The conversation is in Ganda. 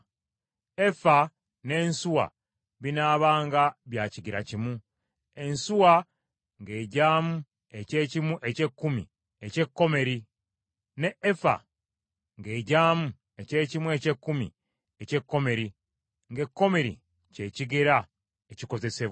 Efa n’ensuwa binaabanga bya kigera kimu, ensuwa ng’egyamu eky’ekimu eky’ekkumi eky’ekomeri, n’efa ng’egyamu eky’ekimu eky’ekkumi eky’ekomeri, ng’ekomeri kye kigera ekikozesebwa.